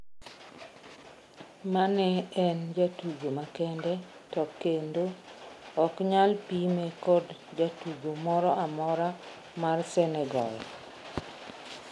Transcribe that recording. "Mane en jatugo makende to kendo oknyal pime kod jatugo mora mora mar Senegal.